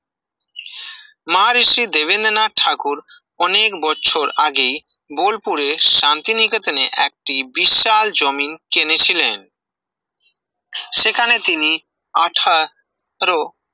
মার শ্রী দেবেন্দ্রনাথ ঠাকুর অনেক বছর আগেই বোলপুরে শান্তিনিকেতনে একটি বিশাল জমিন কিনেছিলেন সেখানে তিনি আঠা ত্র